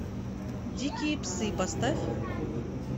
дикие псы поставь